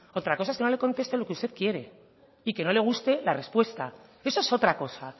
otra cosa es que no le conteste lo que usted quiere y que no le guste la respuesta eso es otra cosa